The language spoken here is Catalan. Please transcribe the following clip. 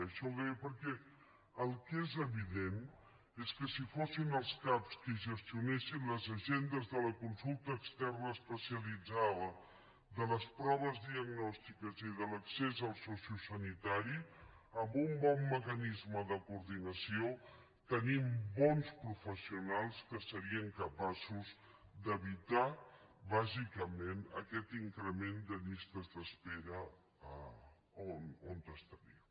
això ho deia perquè el que és evident és que si fossin els cap qui gestionessin les agendes de la consulta externa especialitzada de les proves diagnòstiques i de l’accés al sociosanitari amb un bon mecanisme de coordinació tenim bons professionals que serien capaços d’evitar bàsicament aquest increment de llistes d’espera on estaríem